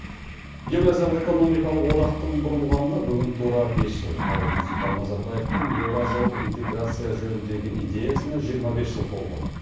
еуразиялық экономикалық одақтың құрылғанына бүгін тура бес жыл ал нұрсұлтан назарбаевтың еуразиялық интеграция жөніндегі идеясына жиырма бес жыл толып отыр